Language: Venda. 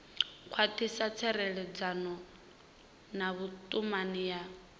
khwathisa tserekano na vhutumani ya